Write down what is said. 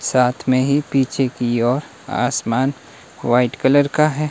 साथ में ही पीछे की ओर आसमान व्हाइट कलर का है।